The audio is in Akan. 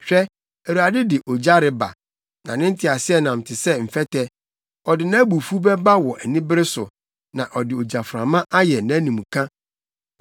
Hwɛ, Awurade de ogya reba, na ne nteaseɛnam te sɛ mfɛtɛ; ɔde nʼabufuw bɛba wɔ anibere so, na ɔde gyaframa ayɛ nʼanimka.